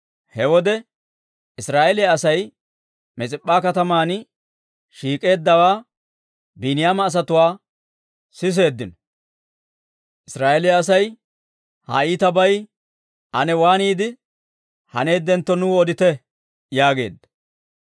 He wode Israa'eeliyaa Asay Mis'ip'p'an shiik'eeddawaa Biiniyaama asatuu siseeddino. Israa'eeliyaa asay, «Ha iitabay ane waaniide haneeddentto, nuu odite» yaageeddino.